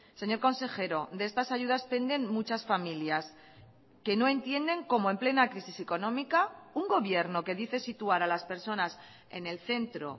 señor consejero de estas ayudas penden muchas familias que no entienden como en plena crisis económica un gobierno que dice situar a las personas en el centro